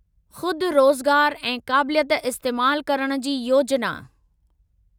ख़ुदि रोज़गार ऐं काबिलियत इस्तेमाल करण जी योजिना